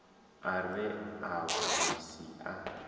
a re a vhuvhusi a